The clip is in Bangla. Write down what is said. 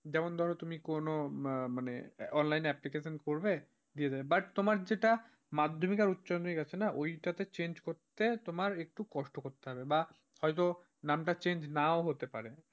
যেমন ধরো তুমি কোন মানে, online application করবে, but তোমার যেটা মাধ্যমিকে আর উচ্চমাধ্যমিক আছে না ওইটাতে change করতে তোমার একটু কষ্ট করতে হবে বা হয়তো নামটা change নাও হতে পারে।